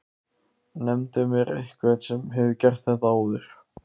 Nefndu mér einhvern sem hefur gert það áður?!